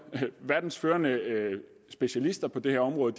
verdens førende specialister på det her område